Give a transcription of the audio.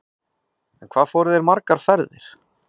En hvað fóru þeir margar ferðir?